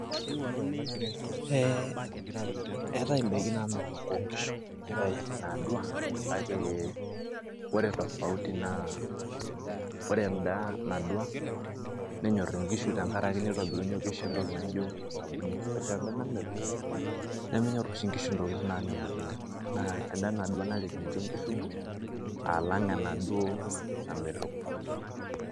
Eh eetae idaikin namelook onkishu, neetae inaadua, kake ore tofauti naa, ore enda nadua, nenyor inkishu tenkaraki nenyor inkishu entoki naijo osabuni. Ore enda namelok, nemenyor oshi nkishu intokiting' namelook oleng'. Naa ena nadua naret ninche nkishu alang' enaduo namelok.